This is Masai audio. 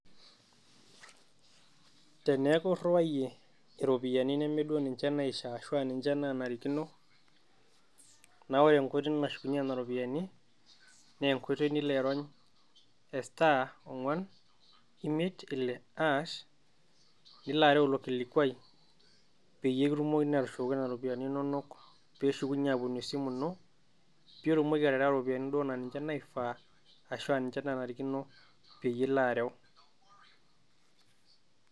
Teneeku irwayie iropiyiani neme niche duo naifaa arashu naanarikino, naa ore enkoitoi nashukunyieki Nena ropiyiani naa enkoitoi Nilo airony' star ong'uan, imiet, Ile hass Nilo areu ilo kilikuaii peyie kitumukokini atushukoki Nena ropiyiani inonok peeshukunyie aaponu esimu ino pee itumoki aterewa iropiyiani naa ninche duo naifaa arashu ninche naanarikino peyie ilo areu.